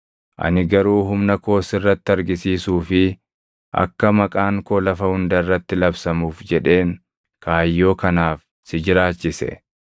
Ani garuu humna koo sirratti argisiisuu fi akka maqaan koo lafa hunda irratti labsamuuf jedheen kaayyoo kanaaf si jiraachise.